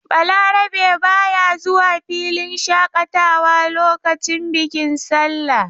Balarabe ba ya zuwa filin shaƙatawa lokacin bikin sallah.